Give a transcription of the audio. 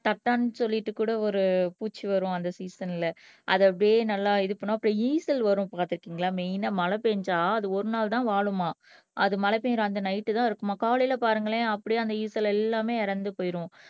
தட்டான்னு சொல்லிட்டு கூட ஒரு பூச்சி வரும் அந்த சீசன்ல அதை அப்படியே நல்லா இது பண்ணும் அப்புறம் ஈசல் வரும் பார்த்திருக்கீங்களா மெயின்னா மழை பேஞ்சா அது ஒரு நாள் தான் வாழுமாம் அது மழை பெய்யிற அந்த நைட் தான் இருக்குமாம் காலையில பாருங்களேன் அப்படியே அந்த ஈசல் எல்லாமே இறந்து போயிடும்